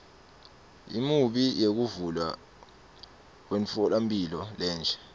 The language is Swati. imiumbi yekuvulwa kwemtfolamphila lensha